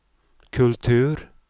kultur